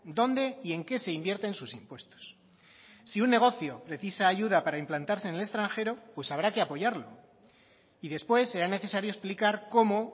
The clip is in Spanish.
dónde y en qué se invierten sus impuestos si un negocio precisa ayuda para implantarse en el extranjero pues habrá que apoyarlo y después será necesario explicar cómo